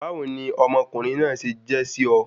Báwo ni ọmọ ọkùnrin náà se je sí o?